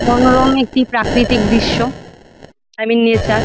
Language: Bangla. মনোরম একটি প্রাকৃতিক দৃশ্য আই মিন নেচার ।